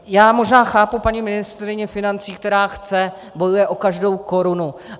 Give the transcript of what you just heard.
Já možná chápu paní ministryni financí, která chce, bojuje o každou korunu.